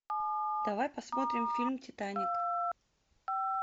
давай посмотрим фильм титаник